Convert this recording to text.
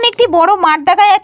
এইখানে একটি বড়ো মাঠ দেখা যা --